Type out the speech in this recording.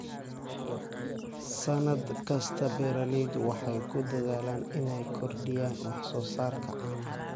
Sannad kasta, beeralaydu waxay ku dadaalaan inay kordhiyaan wax soo saarka caanaha.